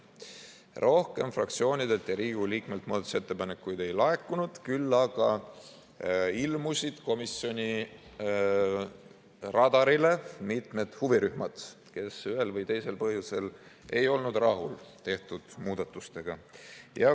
Rohkem fraktsioonidelt ja Riigikogu liikmetelt muudatusettepanekuid ei laekunud, küll aga ilmusid komisjoni radarile mitmed huvirühmad, kes ühel või teisel põhjusel ei olnud rahul tehtud muudatustega.